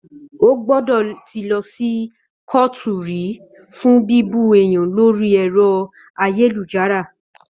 Ó gbọ́dọ̀ tí lọ sí kóòtù rí fún bíbú èèyàn lórí ẹ̀rọ ayélujára